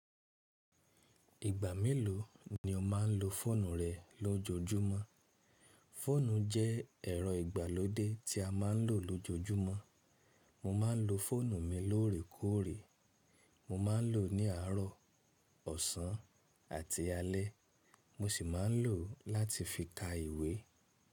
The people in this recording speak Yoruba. Ìgbà mélòó ni o má ń lo fóònù rẹ lójoójúmọ́? Fóònù jẹ́ ẹ̀rọ ìgbàlódé tí a má ń lò lójoójúmọ́. Mo ma ń lo fóònù mi lóòrèkóòrè. Mo ma ń lò ó ní àárọ̀, ọ̀sán àti alẹ́. Mo sì má ń lò ó láti fi ka ìwé.